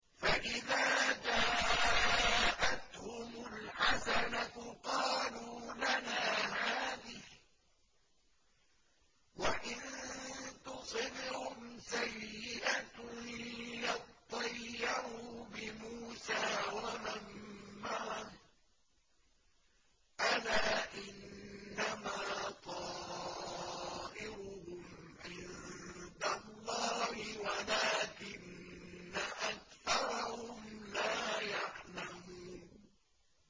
فَإِذَا جَاءَتْهُمُ الْحَسَنَةُ قَالُوا لَنَا هَٰذِهِ ۖ وَإِن تُصِبْهُمْ سَيِّئَةٌ يَطَّيَّرُوا بِمُوسَىٰ وَمَن مَّعَهُ ۗ أَلَا إِنَّمَا طَائِرُهُمْ عِندَ اللَّهِ وَلَٰكِنَّ أَكْثَرَهُمْ لَا يَعْلَمُونَ